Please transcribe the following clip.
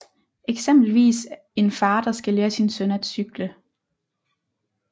Eksempelvis en far der skal lære sin søn at cykle